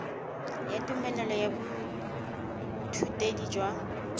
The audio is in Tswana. ya tumelelo ya boithutedi jwa